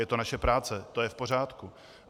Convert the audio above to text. Je to naše práce, to je v pořádku.